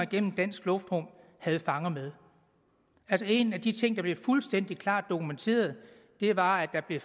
gennem dansk luftrum havde fanger med en af de ting der blev fuldstændig klart dokumenteret var at der blev